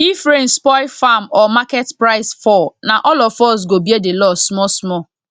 if rain spoil farm or market price fall na all of us go bear the loss small small